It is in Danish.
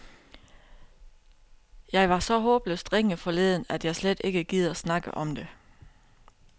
Jeg var så håbløst ringe forleden, at jeg slet ikke gider snakke om det.